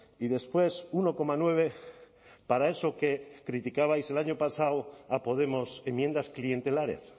y después uno coma nueve para eso que criticabais el año pasado a podemos enmiendas clientelares